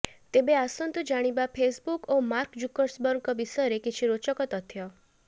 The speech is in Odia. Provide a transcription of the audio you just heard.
ତେବେ ଆସନ୍ତୁ ଜାଣିବା ଫେସବୁକ ଓ ମାର୍କ ଜୁକରବର୍ଗଙ୍କ ବିଷୟରେ କିଛି ରୋଚକ ତଥ୍ୟ